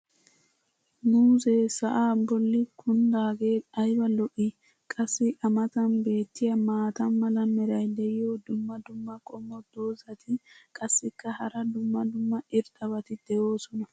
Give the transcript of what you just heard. muuzzee sa'aa bolli kundaagee ayba lo'ii? qassi a matan beettiya maata mala meray diyo dumma dumma qommo dozzati qassikka hara dumma dumma irxxabati doosona.